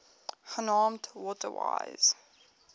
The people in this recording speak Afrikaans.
genaamd water wise